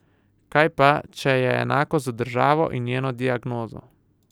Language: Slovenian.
Kaj pa, če je enako z državo in njeno diagnozo?